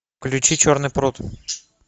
включи черный пруд